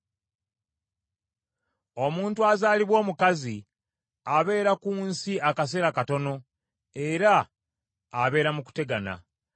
“Omuntu azaalibwa omukazi, abeera ku nsi akaseera katono era abeera mu kutegana.